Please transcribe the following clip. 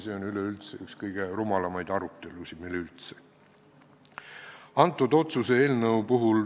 See on üks kõige rumalamaid arutelusid meil üleüldse.